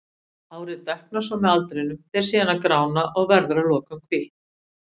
Hárið dökknar svo með aldrinum, fer síðan að grána og verður að lokum hvítt.